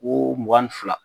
Ko mugan ni fila.